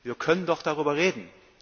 Wir können doch darüber reden.